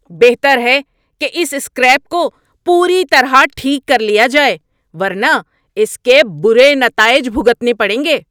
بہتر ہے کہ اس سکریپ کو پوری طرح ٹھیک کر لیا جائے ورنہ اس کے برے نتائج بھگتنے پڑیں گے!